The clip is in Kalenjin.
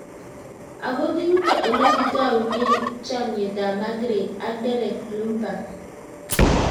ako ki yutok ole kitaunet chamyet ab margret ak Derek Lomburgh